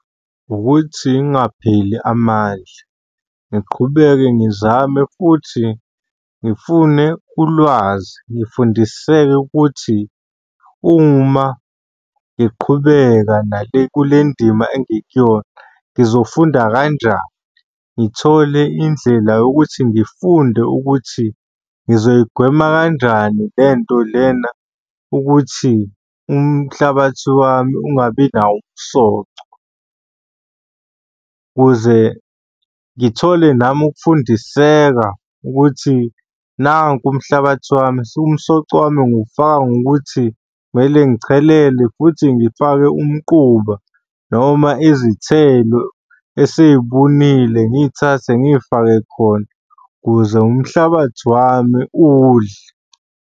Ukuthi ngingapheli amandla ngiqhubeke ngizame futhi ngifune ulwazi. Ngifundiseke ukuthi uma ngiqhubeka kule ndima engikuyona, ngizofunda kanjani. Ngithole indlela yokuthi ngifunde ukuthi ngizoyigwema kanjani le nto lena ukuthi umhlabathi wami ungabi nawo umsoco, ukuze ngithole nami ukufundiseka ukuthi nanku umhlabathi wami. Umsoco wami ngiwufaka ngokuthi kumele ngichelele futhi ngifake umquba noma izithelo esey'bunile ngiy'thathe ngiy'fake khona ukuze umhlabathi wami udle.